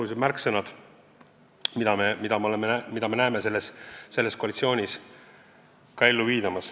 Meie jaoks on olulised teatavad märksõnad, mida me näeme selles koalitsioonis ka ellu viidavat.